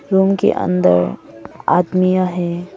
Room के अंदर आदमिया हैं।